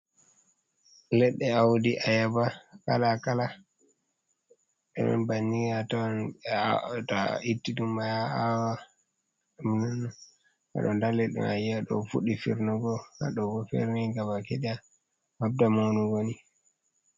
Ledde audi a yaba kala kala irin bannin a ton be ta a itti ɗum a awa amnan aɗo ndali ɗum Amaɗo fuɗɗi fernugo, hado ferni gabaki daya habda manu woni.